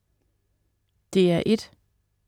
DR1: